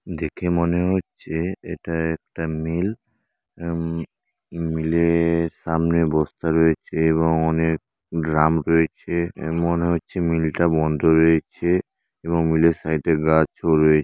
দেখে মনে হচ্ছে এটা একটা মি-ইল এ মিল -এ-এর সামনে বস্তা রয়েছে এবং অনেক ড্রাম রয়েছে এ মনে হচ্ছে মিলটা বন্ধ রয়েছে এবং মিল -এর সাইডে গাছও রয়েছে।